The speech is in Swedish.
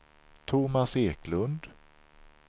Tomas Eklund